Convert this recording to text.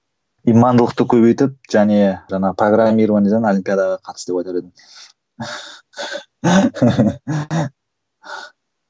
имандылықты көбейтіп және жаңа программированиеден олимпиадаға қатыс деп айтар едім